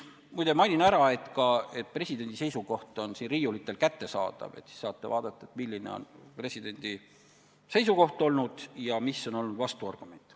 Muide, mainin ära, et see dokument on siin riiulitel ka kättesaadav, nii et saate ise vaadata, milline on olnud presidendi seisukoht ja mis on olnud vastuargument.